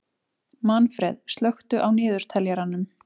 Manfreð, slökktu á niðurteljaranum.